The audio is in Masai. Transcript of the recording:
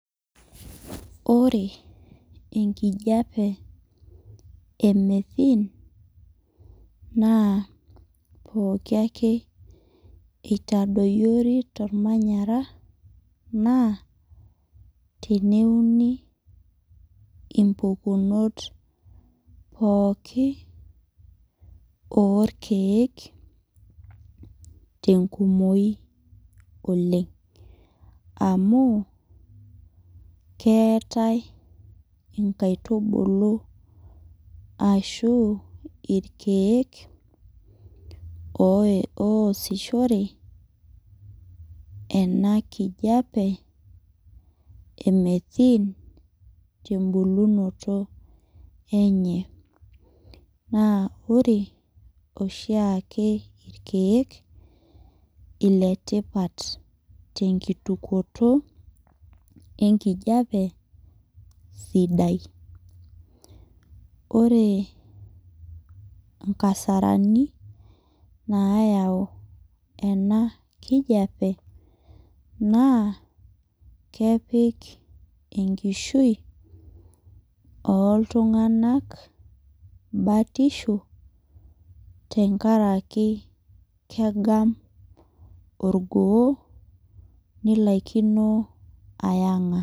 Ore enkijape e methene naa pooki ake eitadoyori tolmanyara naa teneuni impukunot pooki oorkeek tenkumoyi oleng'. Amu keetai inkaitubulu ashuu irkeek ooye ooyesishore ena kijape e methene tembulunoto enye. Naa ore oshiake irkeek iletipat tenkitukuoto enkijape sidai. Oree inkasarani naayau ema kijape naa kepik enkishui ooltung'anak batisho tengaraki keggam orgoo nilaikini aiyang'a.